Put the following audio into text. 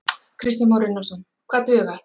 Kristján Már Unnarsson: Hvað dugar?